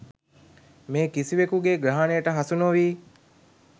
මේ කිසිවෙකුගේ ග්‍රහණයට හසු නොවී